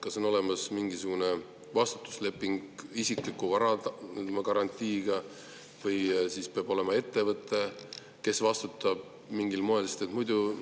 Kas on olemas mingisugune vastutusleping isikliku vara garantiiga või siis peab olema ettevõte, kes vastutab mingil moel?